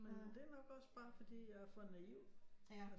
Men det er nok også bare fordi jeg er for naiv